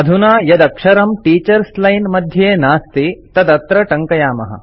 अधुना यदक्षरं teachers line मध्ये नास्ति तदत्र टङ्कयामः